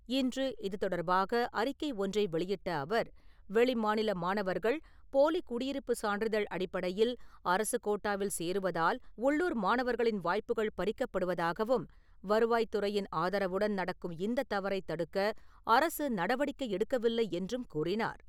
இன்று இது தொடர்பாக அறிக்கை ஒன்றை வெளியிட்ட அவர், வெளி மாநில மாணவர்கள் போலி குடியிருப்பு சான்றிதழ் அடிப்படையில் அரசுக் கோட்டாவில் சேருவதால், உள்ளூர் மாணவர்களின் வாய்ப்புகள் பறிக்கப்படுவதாகவும், வருவாய் துறையின் ஆதரவுடன் நடக்கும் இந்த தவறைத் தடுக்க அரசு நடவடிக்கை எடுக்கவில்லை என்றும் கூறினார்.